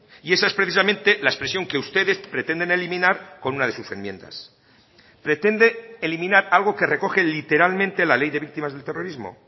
y esa es precisamente la expresión que ustedes pretenden eliminar con una de sus enmiendas pretende eliminar algo que recoge literalmente la ley de víctimas del terrorismo